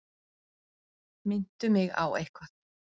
Minntu mig á eitthvað.